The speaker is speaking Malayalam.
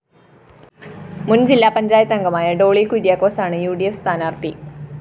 മുന്‍ ജില്ലാ പഞ്ചായത്തംഗമായ ഡോളി കുര്യാക്കോസാണ് ഉ ഡി ഫ്‌ സ്ഥാനാര്‍ഥി